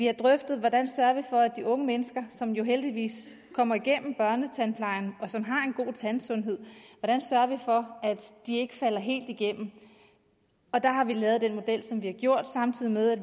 har drøftet hvordan sørger vi for at de unge mennesker som jo heldigvis kommer igennem børnetandplejen og som har en god tandsundhed ikke falder helt igennem og der har vi lavet den model som vi har gjort samtidig med at